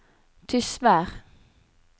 Tysvær